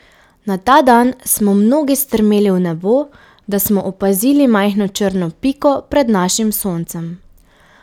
Na ta dan smo mnogi strmeli v nebo, da smo opazili majhno črno piko pred našim Soncem.